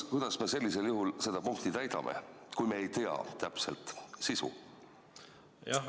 Kuidas me sellisel juhul seda punkti täidame, kui me ei tea täpselt sisu?